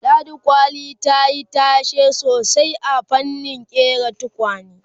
ladi kwali tayi tashe sosai a fannin ƙera tukwane